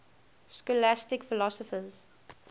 scholastic philosophers